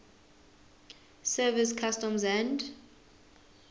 service customs and